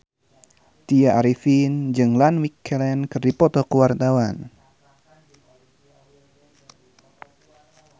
Tya Arifin jeung Ian McKellen keur dipoto ku wartawan